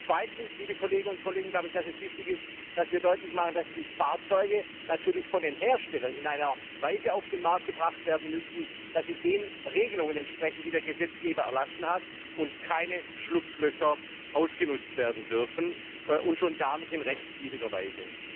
Zum Zweiten ist es wichtig, dass wir deutlich machen, dass die Fahrzeuge natürlich von den Herstellern in einer Weise auf den Markt gebracht werden müssen, dass sie den Regelungen entsprechen, die der Gesetzgeber erlassen hat, und keine Schlupflöcher ausgenutzt werden dürfen und schon gar nicht in rechtswidriger Weise.